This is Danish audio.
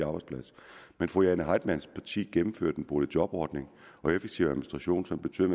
arbejdsplads men fru jane heitmanns parti gennemførte en boligjobordning og effektiv administration som betød